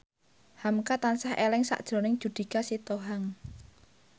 hamka tansah eling sakjroning Judika Sitohang